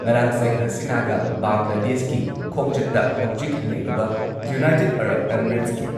ꯉꯔꯥꯥꯡ ꯁꯦꯈ ꯍꯁꯤꯅꯥꯒ ꯕꯪꯒ꯭ꯂꯥꯗꯦꯁꯀꯤ ꯈꯣꯡꯆꯠꯇ ꯍꯧꯖꯤꯛ ꯂꯩꯔꯤꯕ ꯌꯨꯅꯥꯏꯇꯦꯗ ꯑꯔꯕ ꯢꯃꯤꯔꯦꯠꯁꯀꯤ